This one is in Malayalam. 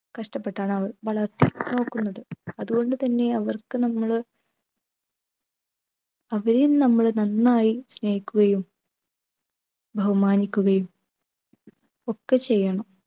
കഷ്ടപ്പെട്ടാണ് അവർ വളർത്തി നോക്കുന്നത് അതുകൊണ്ടു തന്നെ അവർക്ക് നമ്മൾ അവരെയും നമ്മൾ നന്നായി സ്നേഹിക്കുകയും ബഹുമാനിക്കുകയും ഒക്കെ ചെയ്യണം